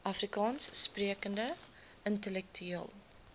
afrikaans sprekende intellektueel